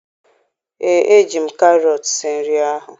Ee, eji m karọt sie nri ahụ